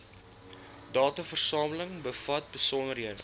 dataversameling bevat besonderhede